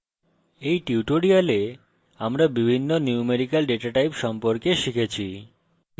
in tutorial আমরা বিভিন্ন numerical data types সম্পর্কে শিখেছি